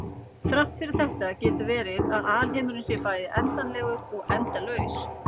Þrátt fyrir þetta getur verið að alheimurinn sé bæði endanlegur og endalaus.